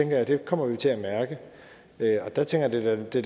noget vi kommer til at mærke og der tænker jeg at det